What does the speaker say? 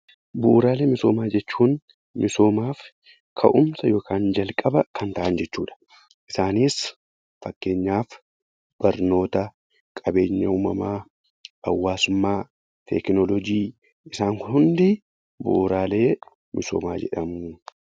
Bu'uraalee misoomaa jechuun misoomaaf ka'umsa yookaan jalqaba kan ta'an jechuu dha. Isanis fakkeenyaaf Barnoota, Qabeenya uumamaa, Hawaasummaa, Teekinoolojii, isaan kun hundi 'Bu'uraalee misoomaa' jedhamu.